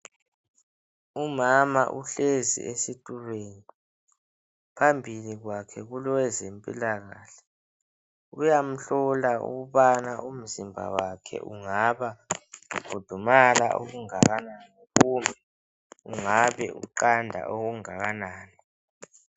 Umama uhlezi esitulweni. Phambili kwakhe kulowezempilakahle uyamhlola ukubana umzimba wakhe ungaba ukhudumala okungakanani kumbe ungaba uqanda okungakanani.